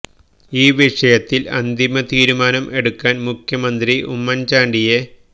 ഈ വിഷയത്തില് അന്തിമ തീരുമാനം എടുക്കാന് മുഖ്യമന്ത്രി ഉമ്മന് ചാണ്ടിയെ